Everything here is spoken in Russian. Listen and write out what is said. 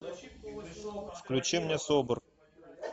включи мне собр